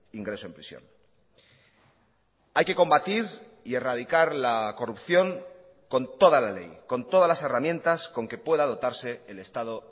ingreso en prisión hay que combatir y erradicar la corrupción con toda la ley con todas las herramientas con que pueda dotarse el estado